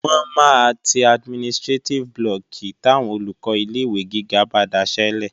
Wọ́n máa ti administrétíf blọọ̀kì táwọn Olùkọ́ ilé-ìwé gíga bá daṣẹ́lẹ̀